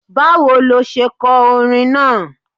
Báwo lo se ko orin náà?